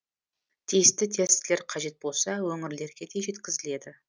тиісті тестілер қажет болса өңірлерге де жеткізіледі